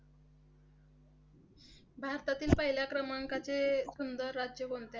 भारतातील पहिल्या क्रमांकाचे सुंदर राज्य कोणते?